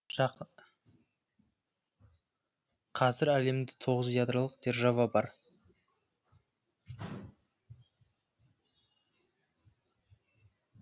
қазір әлемде тоғыз ядролық держава бар